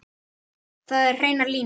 Það eru hreinar línur.